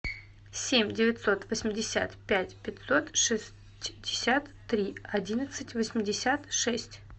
семь девятьсот восемьдесят пять пятьсот шестьдесят три одиннадцать восемьдесят шесть